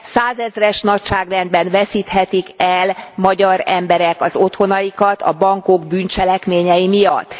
Százezres nagyságrendben veszíthetik el magyar emberek az otthonaikat a bankok bűncselekményei miatt.